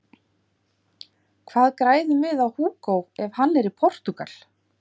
Hvað græðum við á Hugo ef hann er í Portúgal?